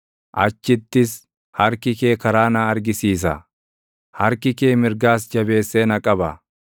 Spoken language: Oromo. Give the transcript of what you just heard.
achittis harki kee karaa na argisiisa; harki kee mirgaas jabeessee na qaba.